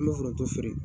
An bɛ foronto feere